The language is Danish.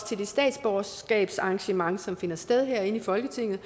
til det statsborgerskabsarrangement som finder sted herinde i folketinget